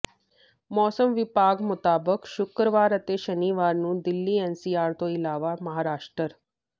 ਮੌਸਮ ਵਿਭਾਗ ਮੁਤਾਬਕ ਸ਼ੁੱਕਰਵਾਰ ਅਤੇ ਸ਼ਨੀਵਾਰ ਨੂੰ ਦਿੱਲੀ ਐਨਸੀਆਰ ਤੋਂ ਇਲਾਵਾ ਮਹਾਰਾਸ਼ਟਰ